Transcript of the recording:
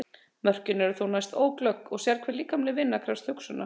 Mörkin eru þó næsta óglögg og sérhver líkamleg vinna krefst hugsunar.